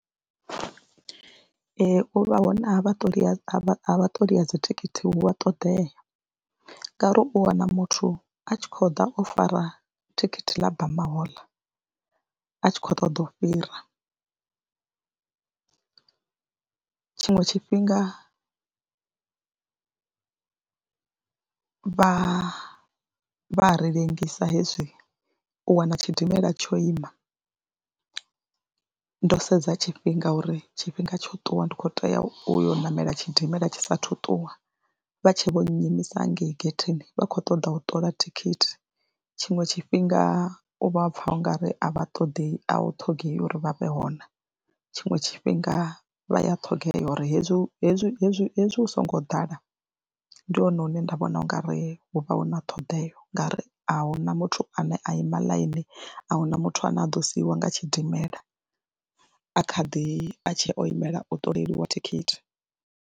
Ee, u vha hone a vhaṱoli ha vha ṱoli vha dzithikhithi hu a ṱoḓea ngauri u wana muthu a tshi khou ḓa o fara thikhithi ḽa bamahoḽa a tshi khou ṱoḓa u fhira, tshiṅwe tshifhinga vha vha ri ḽengisa hezwi u wana tshidimela tsho ima ndo sedza tshifhinga uri tshifhinga tsho ṱuwa ndi khou tea u ya u ṋamela tshidimela tshi saathu ṱuwa, vha tshe vho nnyimisa hangei getheni vha khou ṱoḓa u ṱola thikhithi. Tshiṅwe tshifhinga u vha pfha u nga ri a vha ṱoḓi a u ṱhogea uri vha vhe hone tshiṅwe tshifhinga vha ya ṱhogea uri hezwi hezwi hezwi hezwi hu songo ḓala ndi hone hune nda vhona u nga ri hu vha hu na ṱhoḓea ngauri a hu na muthu ane a ima ḽainini, a hu na muthu ane a ḓo siiwa nga tshidimela a kha ḓi, a tshe o imela u ṱoleliwa thikhithi.